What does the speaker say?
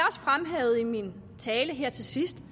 fremhævede i min tale her til sidst